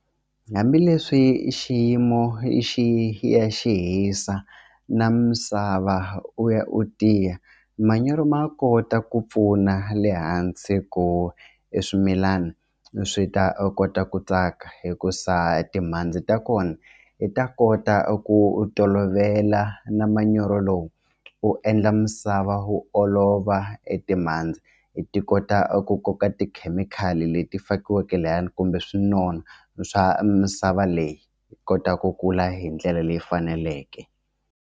Hambileswi xiyimo xi ya xi hisa na misava u ya u tiya manyoro ma kota ku pfuna le hansi ku e swimilana swi ta kota ku tsaka hikuza timhandzi ta kona i ta kota ku u tolovela na manyoro lowu u endla misava wu olova e timhandzi ti kota ku koka tikhemikhali leti fakiweke layani kumbe swi nona swa misava leyi yi kota ku kula hi ndlela leyi faneleke.